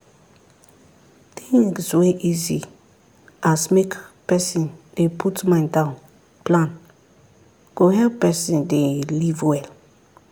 things wey easy as make person dey put mind down plan go help person dey live well